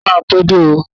Akọ̀wé máa pé dé.